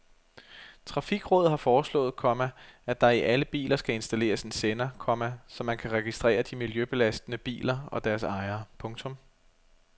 Trafikrådet har foreslået, komma at der i alle biler skal installeres en sender, komma så man kan registrere de miljøbelastende biler og deres ejere. punktum